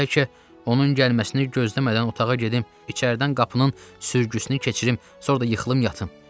Bəlkə onun gəlməsini gözləmədən otağa gedib, içəridən qapının sürgüsünü keçirib, sonra da yuxulayıb yatım.